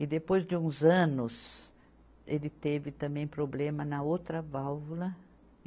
E depois de uns anos, ele teve também problema na outra válvula.